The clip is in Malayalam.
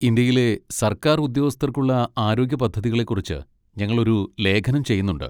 ഇന്ത്യയിലെ സർക്കാർ ഉദ്യോഗസ്ഥർക്കുള്ള ആരോഗ്യ പദ്ധതികളെ കുറിച്ച് ഞങ്ങളൊരു ലേഖനം ചെയ്യുന്നുണ്ട്.